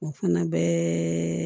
O fana bɛɛ